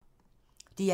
DR1